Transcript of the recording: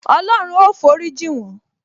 Olorun ó forí jin won